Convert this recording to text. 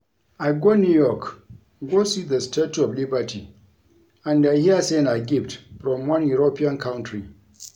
I go New York go see the statue of Liberty and I hear say na gift from one European country